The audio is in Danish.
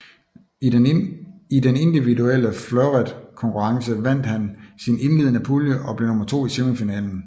I den individuelle fleuretkonkurrence vandt han sin indledende pulje og blev nummer to i semifinalen